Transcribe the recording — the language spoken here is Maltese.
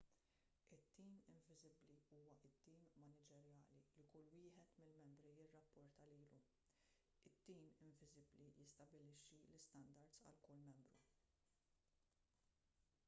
it- tim inviżibbli” huwa t-tim maniġerjali li kull wieħed mill-membri jirrapporta lilu. it-tim inviżibbli jistabbilixxi l-istandards għal kull membru